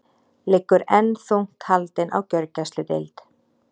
Liggur enn þungt haldin á gjörgæsludeild